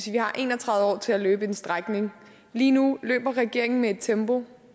vi har en og tredive år til at løbe en strækning lige nu løber regeringen med tempo